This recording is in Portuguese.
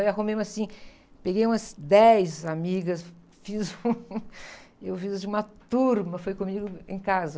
Aí arrumei uma, assim, peguei umas dez amigas, fiz um... E eu fiz, assim, uma turma, foi comigo em casa.